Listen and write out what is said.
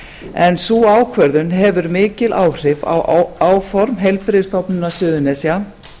en sú ákvörðun hefur mikil áhrif á áform heilbrigðisstofnunar suðurnesja